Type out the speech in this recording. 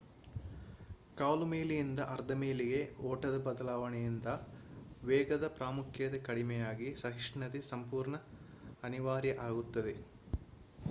ಕಾಲು ಮೈಲಿಯಿಂದ ಅರ್ಧ ಮೈಲಿಗೆ ಓಟದ ಬದಲಾವಣೆಯಿಂದ ವೇಗದ ಪ್ರಾಮುಖ್ಯತೆ ಕಡಿಮೆಯಾಗಿ ಸಹಿಷ್ಣುತೆ ಸಂಪೂರ್ಣ ಅನಿವಾರ್ಯ ಆಗುತ್ತದೆ